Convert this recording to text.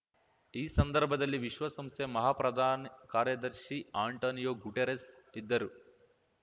ಈ ಸಂದರ್ಭದಲ್ಲಿ ವಿಶ್ವಸಂಸ್ಥೆ ಮಹಾಪ್ರಧಾನ ಕಾರ್ಯದರ್ಶಿ ಆ್ಯಂಟೋನಿಯೋ ಗುಟೆರಸ್ ಇದ್ದರು